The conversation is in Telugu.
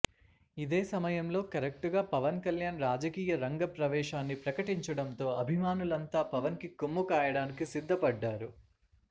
ఇదే సమయంలో కరెక్టుగా పవన్ కళ్యాణ్ రాజకీయ రంగ ప్రవేశాన్ని ప్రకటించడంతో అభిమానులంతా పవన్ కి కొమ్ము కాయడానికి సిద్ధపడ్డారు